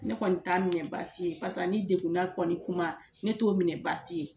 Ne kɔni t'a minɛ baasi ye, pase ani degunna kɔni kuma ne t'o minɛ baasi ye.